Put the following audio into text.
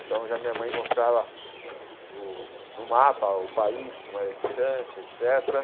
Então, já a minha mãe mostrava no mapa o país, como era distante, et cétera.